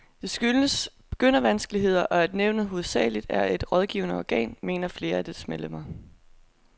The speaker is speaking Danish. Det skyldes begyndervanskeligheder, og at nævnet hovedsageligt er et rådgivende organ, mener flere af dets medlemmer.